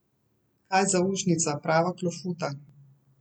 Kaj zaušnica, prava klofuta!